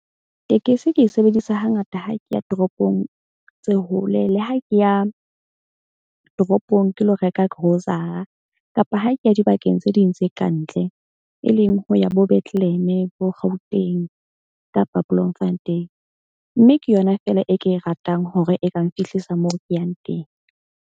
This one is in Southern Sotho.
Tekesi ke e sebedisa hangata ha ke ya toropong tse hole. Le ha ke ya toropong ke lo reka grocer-a kapa ha ke ya dibakeng tse ding tse kantle. E leng ho ya bo Bethlehem-e bo Gauteng kapa Bloemfontein. Mme ke yona fela e ke e ratang hore e ka nfihlisa moo ke yang teng.